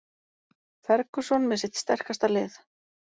Ferguson með sitt sterkasta lið